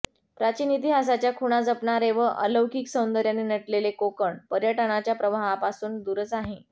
प्राचीन इतिहासाच्या खुणा जपणारे व अलौकिक सौंदर्याने नटलेले कोकण पर्यटनाच्या प्रवाहापासून दूरच आहे